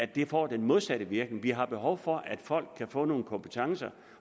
det får den modsatte virkning vi har behov for at folk kan få nogle kompetencer